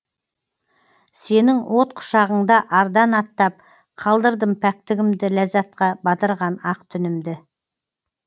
сенің от құшағыңда ардан аттап қалдырдым пәктігімді ләззатқа батырған ақ түнімді